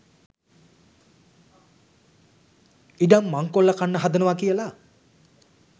ඉඩම් මංකොල්ල කන්න හදනවා කියලා